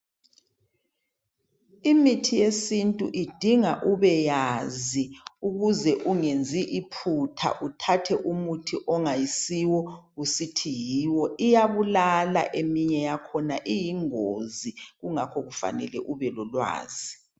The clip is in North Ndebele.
Imithi yesintu idinga ubeyazi ukuze ungenzi iphutha uthathe umuthi ongayisiwo usithi yiwo. Iyabulala eminye yakhona iyingozi kungakho kufanele ubelolwazi.